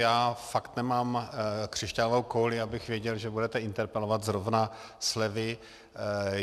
Já fakt nemám křišťálovou kouli, abych věděl, že budete interpelovat zrovna slevy.